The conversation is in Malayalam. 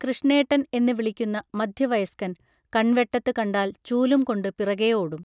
കൃഷ്ണേട്ടൻ എന്ന് വിളിക്കുന്ന മധ്യവയസ്കൻ കൺവെട്ടത്ത് കണ്ടാൽ ചൂലും കൊണ്ട് പിറകേ ഓടും